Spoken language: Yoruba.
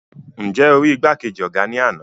Nje o ri igbakeji ọgá ní ana?